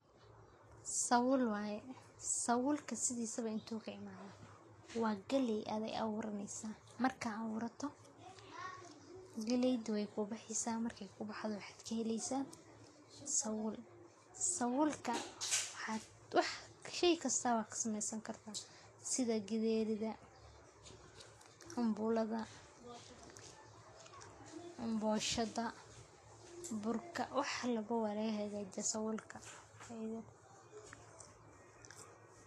Sawul waye, sawulka sidisaba intuu kaimathe? Wa galey adi awuraneyso . Marka ad awurato galeydha wey kubaxeysaah marki ku baxdho waxaa kaheleysaah sawul, sawulka shey kasta wa kasamesan kartaa sidha gidherida, cambulada, boshada, burka wax labo wa lagahagajiyaah sawulka.